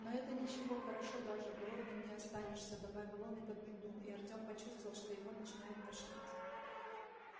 но это ничего хорошо даже голодным не останешься добавил он и подмигнул и артём почувствовал что его начинает тошнить